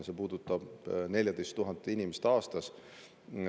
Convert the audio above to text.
See puudutab 14 000 inimest aastas.